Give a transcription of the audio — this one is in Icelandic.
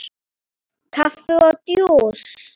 Kaffi og djús.